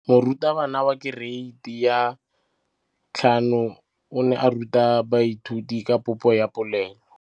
Moratabana wa kereiti ya 5 o ne a ruta baithuti ka popô ya polelô.